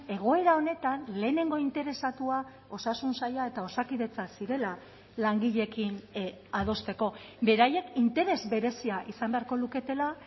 egoera honetan lehenengo interesatua osasun saila eta osakidetza zirela langileekin adosteko beraiek interes berezia izan beharko luketela